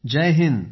Jai Hind